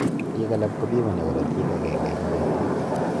piik alak kopimani karatik agenge eng petut